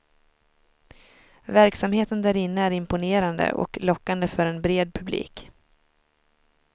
Verksamheten därinne är imponerande och lockande för en bred publik.